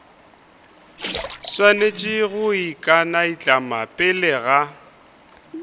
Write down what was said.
swanetše go ikanaitlama pele ga